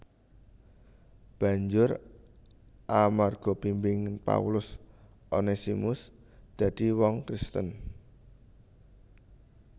Banjur amarga bimbingan Paulus Onesimus dadi wong Kristen